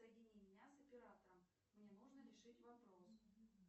соедини меня с оператором мне нужно решить вопрос